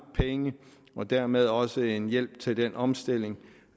penge og dermed også en hjælp til den omstilling